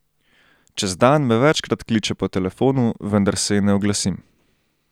Čez dan me večkrat kliče po telefonu, vendar se ji ne oglasim.